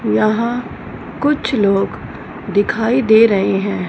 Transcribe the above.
यहां कुछ लोग दिखाई दे रहे हैं।